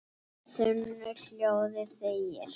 þunnu hljóði þegir